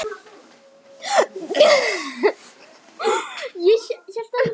En skýin eru ekki bara á himninum.